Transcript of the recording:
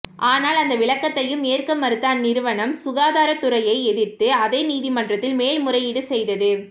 ஆனால் அந்த விளக்கத்தையும் ஏற்க மறுத்த அந்நிறுவனம் சுகாதாரத்துறையை எதிர்த்து அதே நீதிமன்றத்தில்மேல் முறையீடு செய்தது